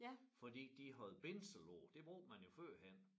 Fordi de havde bindsel på det brugte man jo førhen